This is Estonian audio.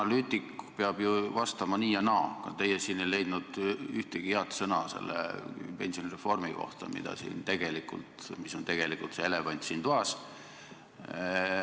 Analüütik peab ju vastama nii ja naa, aga teie ei leidnud ühtegi head sõna selle pensionireformi kohta, mis on tegelikult elevant siin toas.